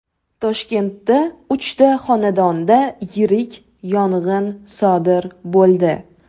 Toshkentda uchta xonadonda yirik yong‘in sodir bo‘ldi.